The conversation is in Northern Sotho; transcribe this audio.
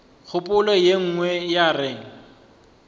kgopolo ye nngwe ya re